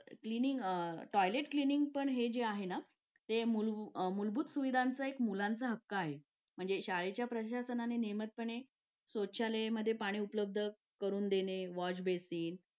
Late होतं सर्दी खोकला हा एक वाढलं आहे. एका मुलाला क्लास पूर्ण क्लास त्याच्यामध्ये वाहून निघत निघत असतो असं म्हणायला हरकत नाही. हो डेंग्यू, मलेरिया यासारखे आजार पण ना म्हणजे लसीकरण आहे. पूर्ण केले तर मला नाही वाटत आहे रोप असू शकतेपुडी लसीकरणाबाबत थोडं पालकांनी लक्ष दिलं पाहिजे की आपला मुलगा या वयात आलेला आहे. आता त्याच्या कोणत्या लसी राहिलेले आहेत का?